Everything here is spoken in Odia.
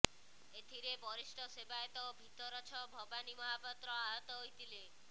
ଏଥିରେ ବରିଷ୍ଠ ସେବାୟତ ଭିତରଛ ଭବାନୀ ମହାପାତ୍ର ଆହତ ହୋଇଥିଲେ